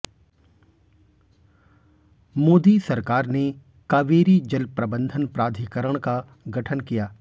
मोदी सरकार ने कावेरी जल प्रबंधन प्राधिकरण का गठन किया